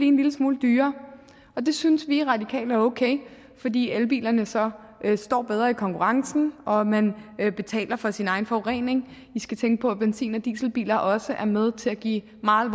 en lille smule dyrere og det synes vi radikale er okay fordi elbilerne så står bedre i konkurrencen og man betaler for sin egen forurening vi skal tænke på at benzin og dieselbiler også er med til at give meget